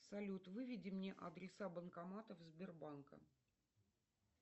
салют выведи мне адреса банкоматов сбербанка